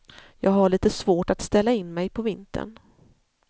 Jag har lite svårt att ställa in mig på vintern.